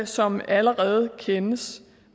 som allerede kendes